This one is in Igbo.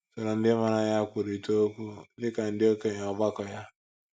Soro ndị maara ya kwurịta okwu, dị ka ndị okenye ọgbakọ ya.